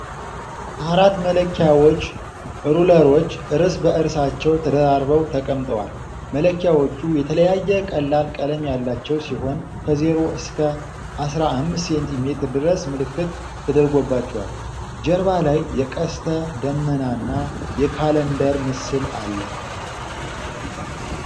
አራት መለኪያዎች (ሩለሮች) እርስ በእርሳቸው ተደራርበው ተቀምጠዋል። መለኪዎቹ የተለያየ ቀላል ቀለም ያላቸው ሲሆን ከዜሮ እስከ አስራ አምስት ሴንቲ ሜትር ድረስ ምልክት ተደርጎባቸዋል። ጀርባ ላይ የቀስተ ደመናና የካላንደር ምስል አለ።